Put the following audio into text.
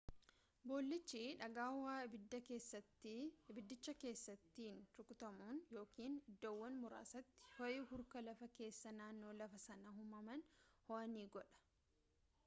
boollichi dhagaa ho'a abiddicha keessaatiin rukutamuun yookaan iddoowwan muraasatti ho'i hurka lafa keessaa naanno lafaa sana uumamaan ho'aa ni godha